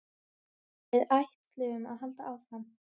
Við ætlum að halda áfram